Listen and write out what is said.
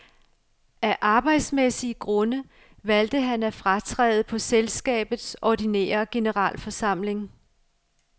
Af arbejdsmæssige grunde valgte han at fratræde på selskabets ordinære generalforsamling.